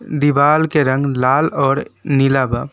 दिवाल के रंग लाल और नीला बा।